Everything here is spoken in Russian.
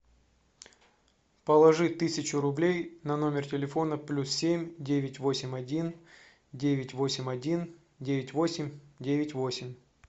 положи тысячу рублей на номер телефона плюс семь девять восемь один девять восемь один девять восемь девять восемь